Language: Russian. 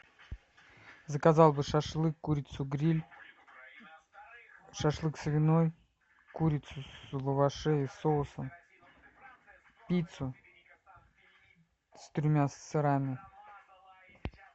заказал бы шашлык курицу гриль шашлык свиной курицу в лаваше и соусом пиццу с тремя сырами